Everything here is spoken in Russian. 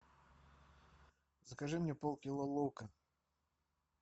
закажи мне пол кило лука